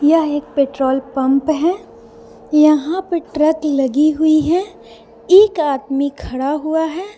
यह एक petrol pump है यहां पर ट्रक लगी हुई है एक आदमी खड़ा हुआ है।